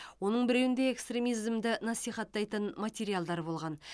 оның біреуінде экстремизмді насихаттайтын материалдар болған